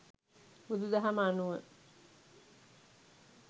බුදු දහම අනුව